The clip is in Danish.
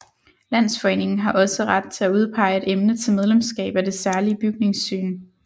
Landsforeningen har også ret til at udpege et emne til medlemskab af Det Særlige Bygningssyn